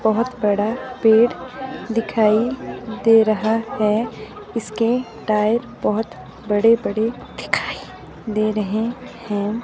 बहोत बड़ा पेड़ दिखाई दे रहा है इसके टायर बहोत बड़े बड़े दिखाई दे रहे हैं।